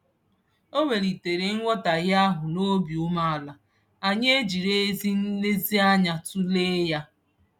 O welitere nghọtaghie ahụ n'obi umeala, anyị ejiri ezi nlezianya tụlee ya.